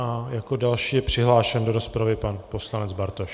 A jako další je přihlášen do rozpravy pan poslanec Bartoš.